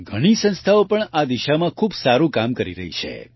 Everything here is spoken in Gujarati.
ઘણી સંસ્થાઓ પણ આ દિશામાં ખૂબ સારું કામ કરી રહી છે